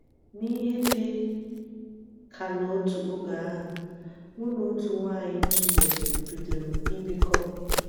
N'ihe dị ka n'otu oge ahụ, mụ na otu nwanyị m zutere bidoro ibikọ.